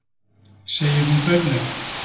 segir hún dauflega.